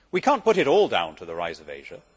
We cannot put it all down to the rise of Asia.